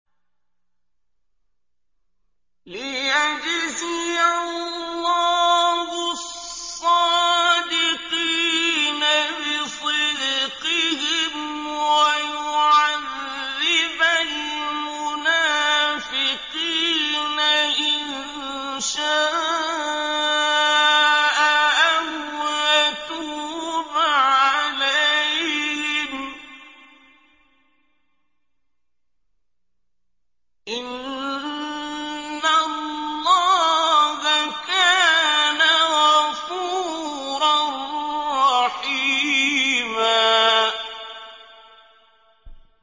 لِّيَجْزِيَ اللَّهُ الصَّادِقِينَ بِصِدْقِهِمْ وَيُعَذِّبَ الْمُنَافِقِينَ إِن شَاءَ أَوْ يَتُوبَ عَلَيْهِمْ ۚ إِنَّ اللَّهَ كَانَ غَفُورًا رَّحِيمًا